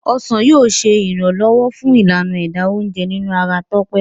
ọsán yíò ṣe iranlọwọ fun Ìlànà ẹ̀dà oúnjẹ nínú ara Tope.